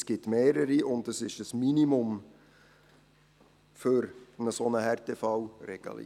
Es gibt mehrere, und es handelt sich um ein Minimum für eine solche Härtefallregelung.